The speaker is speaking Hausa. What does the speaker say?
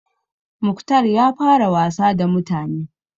Mukhtar ya fara wasa da mutane.